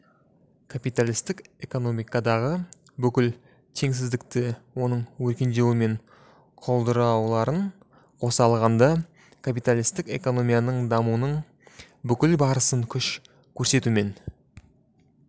капиталистік экономикадағы бүкіл теңсіздікті оның өркендеуі мен құлдырауларын қоса алғанда капиталистік экономиканың дамуының бүкіл барысын күш көрсетумен